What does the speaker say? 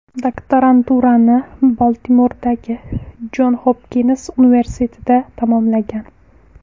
Doktoranturani Baltimordagi Jon Xopkins universitetida tamomlagan.